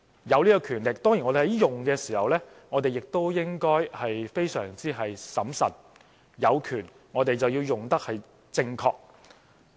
擁有這種權力，我們運用時當然也應該非常審慎，有權便應正確運用。